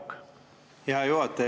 Aitäh, hea juhataja!